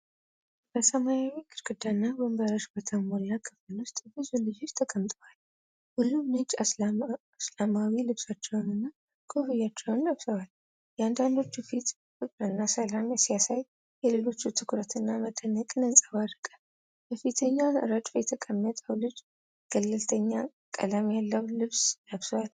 በሰማያዊ ግድግዳና ወንበሮች በተሞላ ክፍል ውስጥ ብዙ ልጆች ተቀምጠዋል። ሁሉም ነጭ እስላማዊ ልብሶችንና ኮፍያዎችን ለብሰዋል። የአንዳንዶቹ ፊት ፍቅርና ሰላምን ሲያሳይ፣ የሌሎቹ ትኩረትና መደነቅን ያንጸባርቃል። በፊተኛው ረድፍ የተቀመጠው ልጅ ገለልተኛ ቀለም ያለው ልብስ ለብሷል።